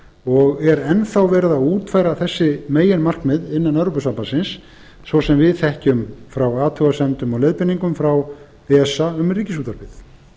og er enn þá verið að útfæra þessi meginmarkmið innan evrópusambandsins svo sem við þekkjum frá athugasemdum og leiðbeiningum frá esa um ríkisútvarpið